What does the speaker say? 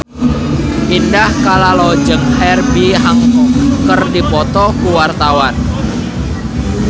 Indah Kalalo jeung Herbie Hancock keur dipoto ku wartawan